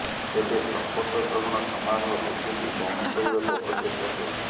ତେବେ ଶପଥ ଗ୍ରହଣ ସମାରୋହ ବିଜେପି ଗୌଣ କରିବାକୁ ଅପଚେଷ୍ଟା କରିଛି